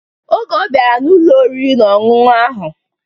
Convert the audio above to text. Oge ọ bịara n'Ụlọ oriri na ọṅụṅụ ahụ